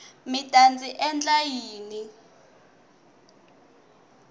mi ta ndzi endla yini